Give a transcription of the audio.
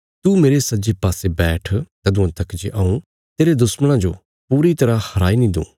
तू मेरे सज्जे पासे बैठ तदुआं तक जे हऊँ तेरे दुश्मणां जो पूरी तरह हराई नीं दूँ